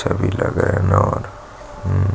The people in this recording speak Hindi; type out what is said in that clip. अच्छा भी लगा है और हम्म्म --